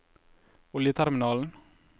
oljeterminalen